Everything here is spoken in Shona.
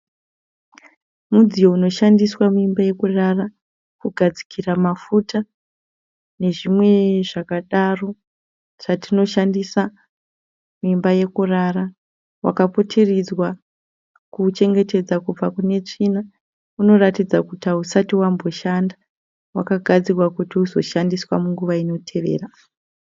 Mudziyo unoshandiswa muimba yekurara kugadzikira mafuta nezvimwe zvakadaro zvatinoshandisa muimba yekurara wakaputiridzwa kuuchengetedza kubva kune tsvina unoratidza kuti hausati wamboshanda wakagadzirwa kuti uzoshandiswa munguva inotevera.